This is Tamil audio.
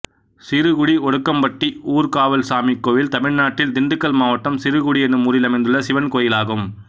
சிறுகுடி ஒடுக்கம்பட்டி ஊர்க்காவல்சாமி கோயில் தமிழ்நாட்டில் திண்டுக்கல் மாவட்டம் சிறுகுடி என்னும் ஊரில் அமைந்துள்ள சிவன் கோயிலாகும்